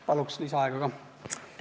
Palun lisaaega ka!